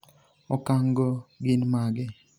okang' go gin mage?